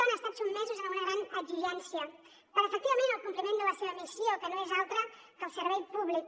han estat sotmesos a una gran exigència per efectivament el compliment de la seva missió que no és altra que el servei públic